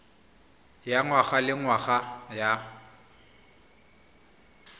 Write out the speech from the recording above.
ya ngwaga le ngwaga ya